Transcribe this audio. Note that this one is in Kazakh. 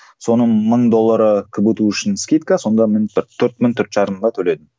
соның мың доллары кбту үшін скидка сонда мен бір төрт мың төрт жарымға төледім